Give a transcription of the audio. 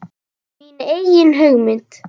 Mína eigin mynd.